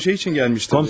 Mən şey üçün gəlmişdim.